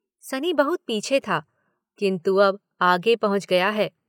सनी बहुत पीछे था किन्तु अब आगे पहुंच गया है।